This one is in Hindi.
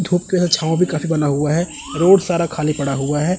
धूप के साथ छांव भी काफ़ी बना हुआ है रोड सारा खाली पड़ा हुआ है।